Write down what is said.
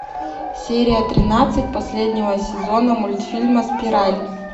серия тринадцать последнего сезона мультфильма спираль